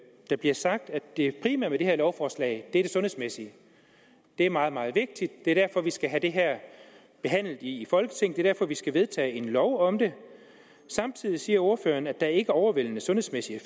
der bliver sagt at det primære med det her lovforslag er det sundhedsmæssige det er meget meget vigtigt det er derfor vi skal have det her behandlet i folketinget det er derfor vi skal vedtage en lov om det samtidig siger ordføreren at der ikke overvældende sundhedsmæssig